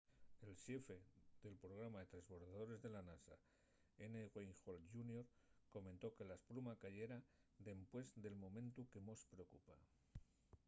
el xefe del programa de tresbordadores de la nasa n. wayne hale jr. comentó que la espluma cayera dempués del momentu que mos preocupa.